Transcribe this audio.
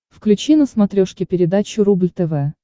включи на смотрешке передачу рубль тв